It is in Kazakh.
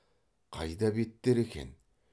қайда беттер екен